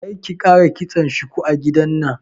Karki ƙara kitson shuku a gidana.